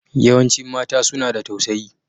Yawancin mata suna da tausayi.